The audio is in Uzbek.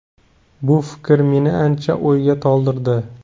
Bu fikr meni ancha o‘yga toldirdi.